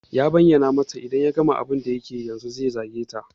Ya bayyana mata in ya gama abun da yake yi yanzun zai zage ta.